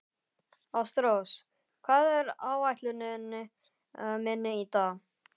Ástrós, hvað er á áætluninni minni í dag?